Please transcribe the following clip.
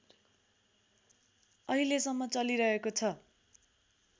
अहिलेसम्म चलिरहेको छ